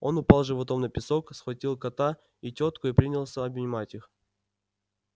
он упал животом на песок схватил кота и тётку и принялся обнимать их